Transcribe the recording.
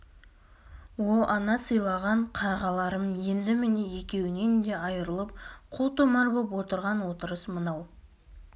о ана сыйлаған қарғаларым енді міне екеуінен де айырылып қу томар боп отырған отырыс мынау